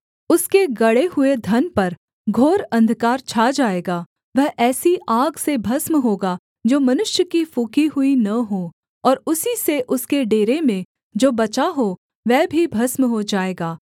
उसके गड़े हुए धन पर घोर अंधकार छा जाएगा वह ऐसी आग से भस्म होगा जो मनुष्य की फूँकी हुई न हो और उसी से उसके डेरे में जो बचा हो वह भी भस्म हो जाएगा